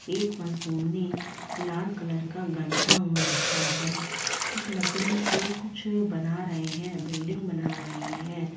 एक लाल कलर का गमछा ओढ़ रखा है कुछ लकड़ी से कुछ बना रहे है बिल्डिंग बना रहे है।